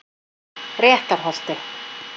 Réttarholti